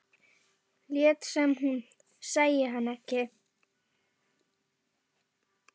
Lét sem hún sæi hann ekki.